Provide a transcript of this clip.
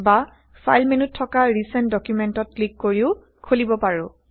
বা ফাইল মেন্যুত থকা ৰিচেন্ট ডুকুমেন্টত ক্লিক কৰিও খোলিব160পাৰো